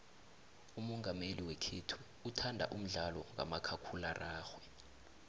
umongameli wekhethu uthanda umdlalo kamakhakhulararhwe